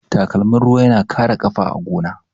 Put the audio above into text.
Takalmin ruwa yana kare ƙafa a gona.